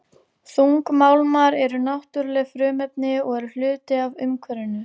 Þungmálmar eru náttúruleg frumefni og eru hluti af umhverfinu.